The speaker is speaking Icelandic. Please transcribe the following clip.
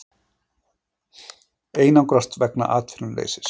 Einangrast vegna atvinnuleysis